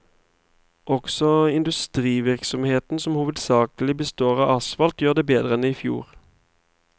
Også industrivirksomheten, som hovedsakelig består av asfalt, gjør det bedre enn i fjor.